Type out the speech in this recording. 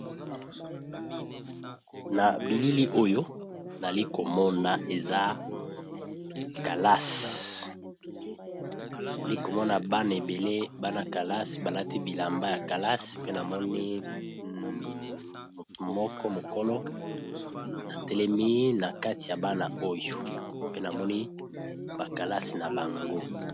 Na bilili oyo nalikomona eza kalasi nali komona bana ebele bana calase balati bilamba ya kalasi pe namoni moko mokolo atelemi na kati ya bana oyo pe namoni ba kalasi na bango.